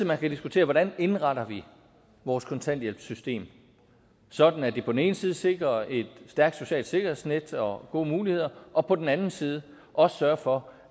man skal diskutere hvordan vi indretter vores kontanthjælpssystem sådan at det på den ene side sikrer et stærkt socialt sikkerhedsnet og gode muligheder og på den anden side også sørger for